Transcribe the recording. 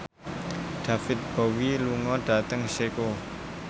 David Bowie lunga dhateng Ceko